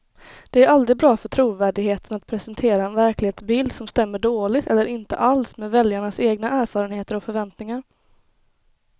Det är aldrig bra för trovärdigheten att presentera en verklighetsbild som stämmer dåligt eller inte alls med väljarnas egna erfarenheter och förväntningar.